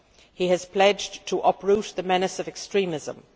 He has pledged to uproot the menace of extremism.